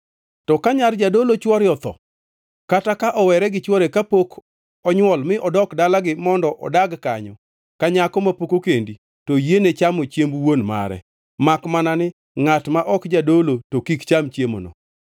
To ka nyar jadolo chwore otho, kata ka owere gi chwore kapok onywol mi odok dalagi mondo odag kanyo ka nyako mapok okendi, to oyiene chamo chiemb wuon mare. Makmana ni ngʼat ma ok jadolo, to kik cham chiemono.